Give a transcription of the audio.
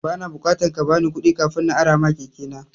Ba na bukatan kabani kuɗi kafin na arama keke na.